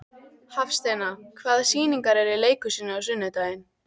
Hafsteina, hvaða sýningar eru í leikhúsinu á sunnudaginn?